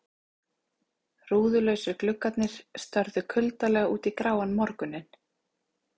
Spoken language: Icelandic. Rúðulausir gluggarnir störðu kuldalega út í gráan morguninn.